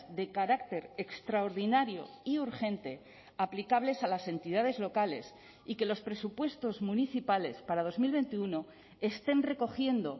de carácter extraordinario y urgente aplicables a las entidades locales y que los presupuestos municipales para dos mil veintiuno estén recogiendo